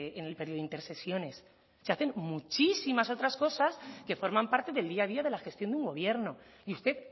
en el periodo intersesiones se hacen muchísimas otras cosas que forman parte del día a día de la gestión de un gobierno y usted